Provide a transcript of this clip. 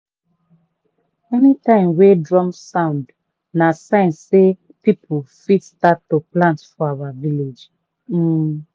anytime wey drum sound na sign sey people fit start to plant for our village. um